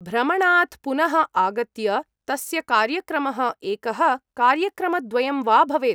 भ्रमणात् पुनः आगत्य तस्य कार्यक्रमः एकः कार्यक्रमद्वयं वा भवेत्।